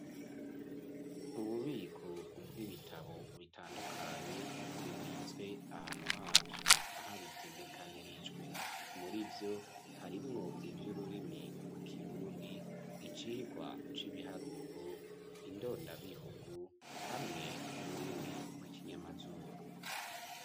Ububiko ubwo ibitabo bitandukanye bibitswe ahantu havyo ahabitegekanirijwe muri vyo harimwo ivyo ururimi rw'ikirundi icirwa c'ibiharuro indondabihugu hamwe n'ururimi rw'ikinyamazuru.